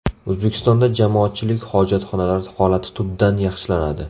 O‘zbekistonda jamoatchilik hojatxonalari holati tubdan yaxshilanadi.